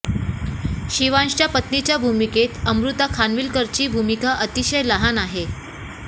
शिवांशच्या पत्नीच्या भूमिकेत अमृता खानविलकरची भूमिका अतिशय लहान आहे